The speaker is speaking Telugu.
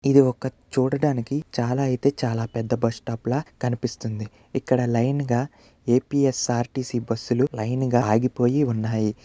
ఇది ఒక చూడడానికి చాలా అయితే చాలా పెద్ద బస్ స్టాప్ లా కనిపిస్తుంది. ఇక్కడ లైన్ గా ఏ_పీ_ఎస్_ఆర్_టి_సి బస్సులు లైన్ గా ఆగిపోయి ఉన్నాయి.